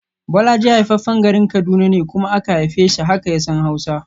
Bolaji haifaffen garin Kaduna ne kuma aka haife shi, haka ya san Hausa